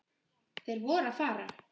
Þeir voru að fara.